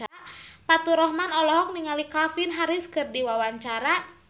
Faturrahman olohok ningali Calvin Harris keur diwawancara